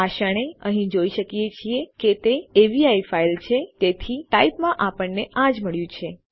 આ ક્ષણે આપણે અહીં જોઈ શકીએ છીએ કે તે અવી ફાઈલ છે તેથી ટાઇપ માં આપણને આ જ મળ્યું છે